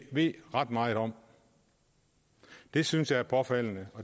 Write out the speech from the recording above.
ved ret meget om det synes jeg er påfaldende